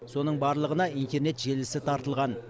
соның барлығына интернет желісі тартылған